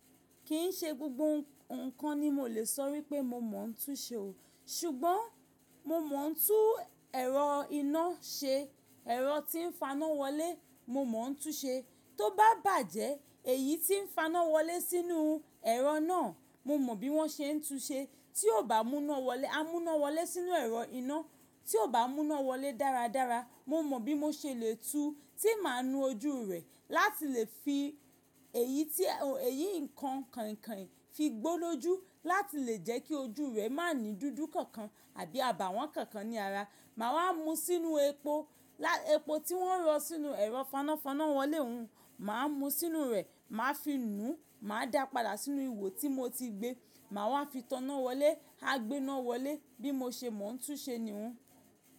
Kì n ṣe gbogbo nǹkan ni mo lè sọ wípé mo mọ̀ ọ́n túú ṣe o, ṣùgbọ́n mo mọ̀ ọ́n túú ẹ̀rọ iná ṣe, ẹ̀rọ tí ń faná wọlé mo mọ̀ ọ́n túú ṣe. Tó bá bàjẹ́, èyí tí ń faná wọlé sínú ẹ̀rọ náà, mo mọ bí wọ́n ṣe ń túú ṣe. Tí ó bá mú iná wọlé, a mú iná wọlé sínú ẹ̀rọ iná, tí ó bá mú iná wọlé dáradára, mo mọ bí mo ṣe lè túú, tí màá nu ojú rẹ̀ láti lè fi èyí nǹkan kànkàn fi gbólójú, láti lè jẹ́ kí ojú rẹ̀ má ní dúdú kankan àbí àbàwọ́n kankan ní ara. Màá wá mú ú sínú epo, epo tí wọ́n rọ̀ sínú ẹ̀rọ fanafána wọlé hun, màá mú sínú rẹ̀, màá fi nùú, màá dápadà sínú ihò tí mo ti gbé, màá wá fi taná wọlé, a gbé iná wọlé, bí mo ṣe mọ̀ ọ́n túú ṣe ni hún.